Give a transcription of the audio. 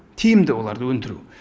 тиімді оларды өндіру